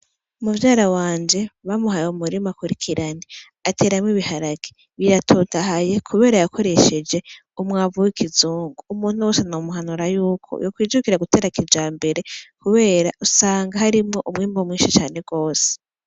Muvyara waje bamuhaye umurima akwirikirana ateramwo ibiharage biratotahaye kubera yakoresheje umwamvu w'ikizungu, umuntu wese nomuhanura yuko yokwijukira gutera kijambere kubera usanga harimwo umwimbu mwinshi cane gose.